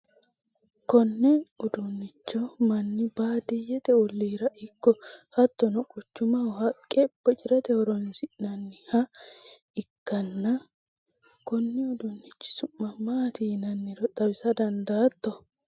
konne uduunnicho manni baadiyyete olliira ikko hattono quchumaho haqqe bocirate horonsirannoha ikkana, konni uduunnichi su'ma maati yinanniro xawisa dandaatto ?